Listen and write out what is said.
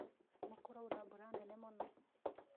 Nĩ kũraura mbura nene mũno